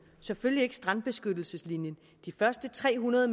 og selvfølgelig ikke strandbeskyttelseslinjen de første tre hundrede